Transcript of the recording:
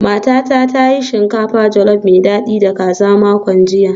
Matata ta yi shinkafa jolof mai dadi da kaza a makon jiya